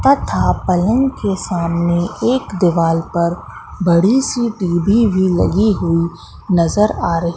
तथा पलंग के सामने एक दीवाल पर बड़ी सी टी_वी भी लगी हुई नजर आ रही--